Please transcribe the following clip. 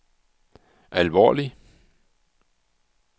alvorlig